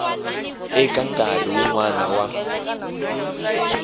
eka nkarhi wun wana wa